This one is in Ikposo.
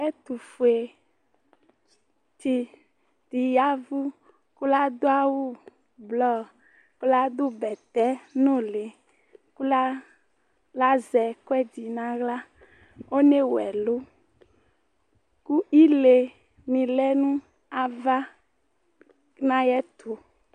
Ɛtufuetsidi yavu ku ladu awu blɔr ku ladu bɛtɛ nuli ku lazɛ ekuɛdi nawla Onewu ɛlu ku ile ni lɛ nava nayɛtu